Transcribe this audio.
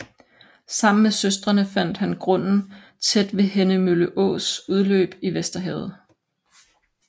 Sammen med søstrene fandt han grunden tæt ved Henne Mølle Ås udløb i Vesterhavet